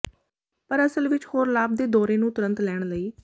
ਪਰ ਅਸਲ ਵਿੱਚ ਹੋਰ ਲਾਭ ਦੇ ਦੌਰੇ ਨੂੰ ਤੁਰੰਤ ਲੈਣ ਲਈ